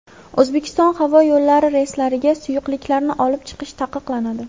O‘zbekiston havo yo‘llari reyslariga suyuqliklarni olib chiqish taqiqlanadi.